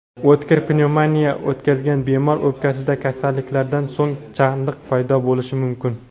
o‘tkir pnevmoniya o‘tkazgan bemor o‘pkasida kasallikdan so‘ng chandiq paydo bo‘lishi mumkin.